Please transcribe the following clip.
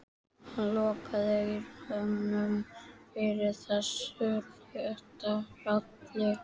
Hann lokaði eyrunum fyrir þessu létta hjali.